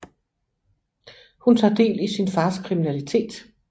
Hun tager del i sin fars kriminalitet